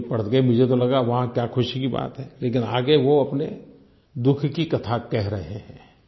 तो ये पढ़ के मुझे तो लगा वाह क्या ख़ुशी की बात है लेकिन आगे वो अपने दुःख की कथा कह रहे हैं